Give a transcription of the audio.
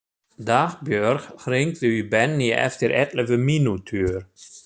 Dagbjörg, hringdu í Benný eftir ellefu mínútur.